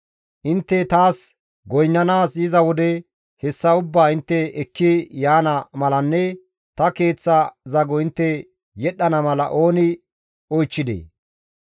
Intte taas goynnanaas yiza wode hessa ubbaa intte ekki yaana malanne ta Keeththa zago intte yedhdhana mala ooni oychchidee?